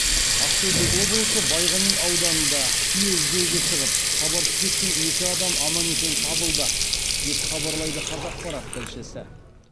ақтөбе облысы байғани ауданында түйе іздеуге шығып хабарсыз кеткен екі адам аман есен табылды деп хабарлайды қазақпарат тілшісі